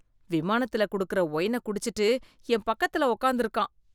விமானத்துல கொடுக்கற ஒயின குடிச்சுட்டு என் பக்கத்துல உட்காந்து இருக்கான்.